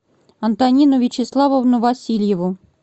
антонину вячеславовну васильеву